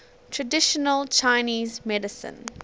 traditional chinese medicine